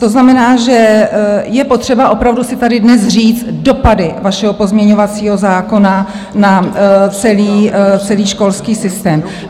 To znamená, že je potřeba opravdu si tady dnes říct dopady vašeho pozměňovacího zákona na celý školský systém.